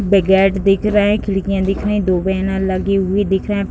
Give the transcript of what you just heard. वे gate दिख रहे हैं खिड़कियां दिख रही। दो बैनर लगे हुए दिख रहे --